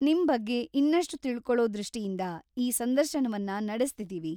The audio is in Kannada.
ನಿಮ್ ಬಗ್ಗೆ ಇನ್ನಷ್ಟು ತಿಳ್ಕೊಳೋ ದೃಷ್ಟಿಯಿಂದ ಈ ಸಂದರ್ಶನವನ್ನ ನಡೆಸ್ತಿದೀವಿ.